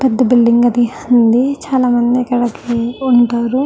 పెద్ద బిల్డింగ్ అది హ్ ఉంది. చాలామంది ఇక్కడ ఉంటారు.